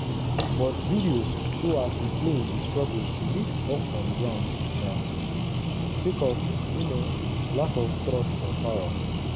but videos show as di plane dey struggle to lift off from ground um sake of um lack of thrust or power.